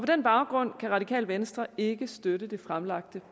den baggrund kan radikale venstre ikke støtte det fremsatte